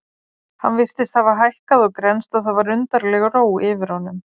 Hann virtist hafa hækkað og grennst og það var undarleg ró yfir honum.